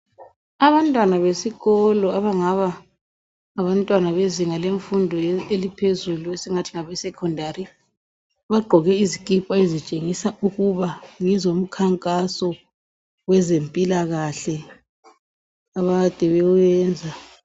Abantwana besikolo abangaba ngabantwana bezinga lemfundo eliphezulu esingathi ngabe secondary baqgoke izikipa ezitshengisa ukuba ngezomkhankazo wezempilakahle akade bewenza.